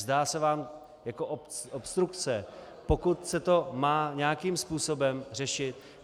Zdá se vám jako obstrukce, pokud se to má nějakým způsobem řešit?